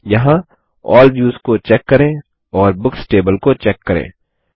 यहाँ all views को check करें और बुक्स टेबल को चेक करें